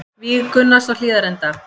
Víg Gunnars á Hlíðarenda